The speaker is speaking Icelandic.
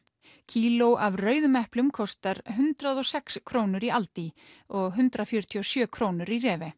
kíló af rauðum eplum kostar hundrað og sex krónur í aldi og hundrað fjörutíu og sjö krónur í